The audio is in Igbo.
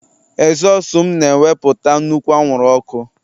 ezosu m na-ewepụta nnukwu anwụrụ ọkụ